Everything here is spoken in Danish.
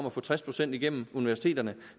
at få tres procent igennem universiteterne